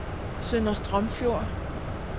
Sønder Strømfjord